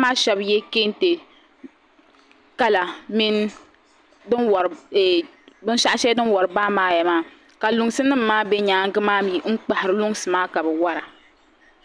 maa shɛbi ye kentɛ Kala mini binshɛɣu shɛli din wari baamaaya maa ka luŋsinim maa be nyaagi maa mi n kpahiri luŋsi maa mi ka be wara.